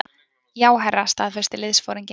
Já, herra staðfesti liðsforinginn.